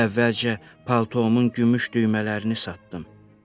Əvvəlcə paltomun gümüş düymələrini satdım.